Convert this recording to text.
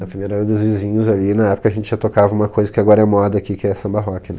Na primeira era dos vizinhos ali, na época a gente já tocava uma coisa que agora é moda aqui, que é samba rock, né?